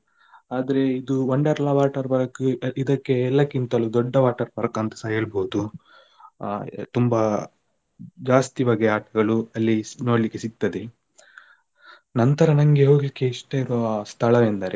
ಆದ್ರೆ ಇದು Wonderla water park ಇದಕ್ಕೆ ಎಲ್ಲಕ್ಕಿಂತಲೂ ದೊಡ್ಡ water park ಅಂತಸ ಹೇಳ್ಬೋದು ಅ ತುಂಬ ಜಾಸ್ತಿ ಬಗೆಯ ಆಟಗಳು ಅಲ್ಲಿ ನೋಡ್ಲಿಕ್ಕೆ ಸಿಗ್ತದೆ ನಂತರ ನನ್ಗೆ ಹೋಗ್ಲಿಕ್ಕೆ ಇಷ್ಟ ಇರುವ ಸ್ಥಳ ಎಂದರೆ.